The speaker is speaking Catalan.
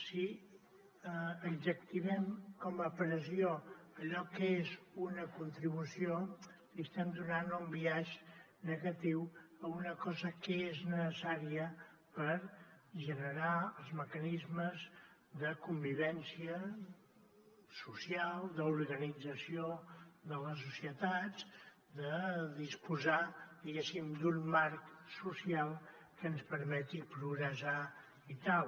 si adjectivem com a pressió allò que és una contribució estem donant un biaix negatiu a una cosa que és necessària per generar els mecanismes de convivència social d’organització de les societats de disposar diguéssim d’un marc social que ens permeti progressar i tal